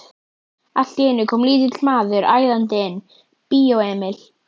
Allt í einu kom lítill maður æðandi inn: Bíó Emil.